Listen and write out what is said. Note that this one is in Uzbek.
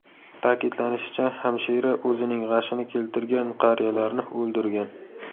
Ta’kidlanishicha, hamshira o‘zining g‘ashini keltirgan qariyalarni o‘ldirgan.